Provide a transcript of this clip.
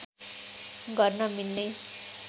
गर्न मिल्ने